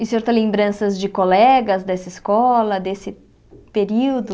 E o senhor tem lembranças de colegas dessa escola, desse período?